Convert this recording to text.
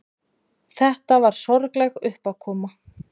Þetta var sorgleg uppákoma.